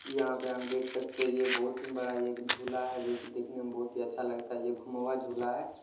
यहा पे हम देख सकते है ये बहुत ही बड़ा एक ही झूला है जोकि दिखने मे बहुत ही अच्छा लगता है ये झूला है।